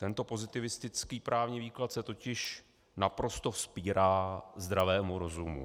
Tento pozitivistický právní výklad se totiž naprosto vzpírá zdravému rozumu.